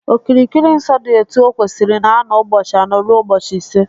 Okirikiri nsọ dị etu o kwesịrị na-anọ ụbọchị anọ rue ụbọchị ise